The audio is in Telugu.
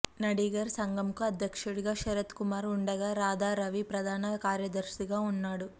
నడిగర్ సంఘం కు అధ్యక్షుడిగా శరత్ కుమార్ ఉండగా రాధారవి ప్రధాన కార్యదర్శిగా ఉన్నాడు